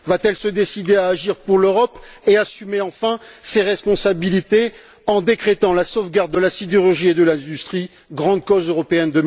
Va t elle se décider à agir pour l'Europe et assumer enfin ses responsabilités en décrétant la sauvegarde de la sidérurgie et de l'industrie grande cause européenne